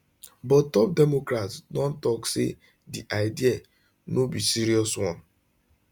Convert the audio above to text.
but top democrats don tok say di idea no be serious one